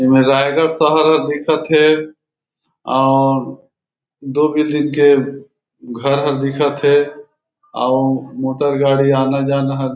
एमे रायगढ़ शहर अ दिखत हे और दो बिल्डिंग के घर ह दिखत हे आउ मोटर गाड़ी आना-जाना हर--